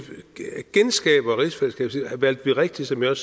genskaber rigsfællesskabet valgte vi rigtigt som jeg